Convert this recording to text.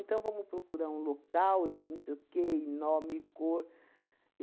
vamos procurar um local, não sei o quê, e nome, e cor.